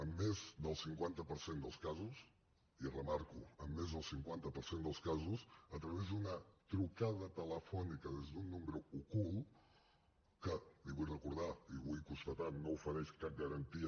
en més del cinquanta per cent dels casos i ho remarco en més del cinquanta per cent dels casos a través d’una trucada telefònica des d’un número ocult que li ho vull recordar i ho vull constatar no ofereix cap garantia